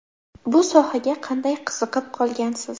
Bu sohaga qanday qiziqib qolgansiz?